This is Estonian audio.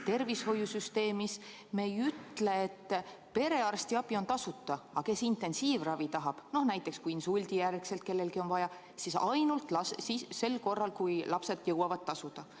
Tervishoiusüsteemis me ei ütle, et perearstiabi on tasuta, aga kes intensiivravi tahab, noh näiteks kui insuldi järel kellelgi on vaja, siis ainult sel juhul, kui lapsed jõuavad tasuda.